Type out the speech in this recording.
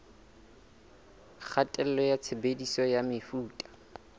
kgatello ya tshebediso ya mefuta